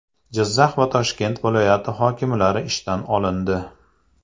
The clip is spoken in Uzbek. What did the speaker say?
Jizzax va Toshkent viloyati hokimlari ishdan olindi.